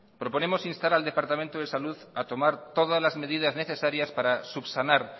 proponemos instar la departamento de salud a tomar todas las medidas necesarias para subsanar